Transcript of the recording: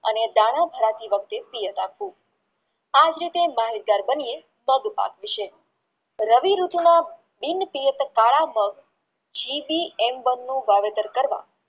અને દાણા ભરતી વખતે રાખવું આજ રીતર માહિતગાર બનીયે પડપક વિશે રવિઋતુમાં બિનપિયત કલ વાવેતર કરવા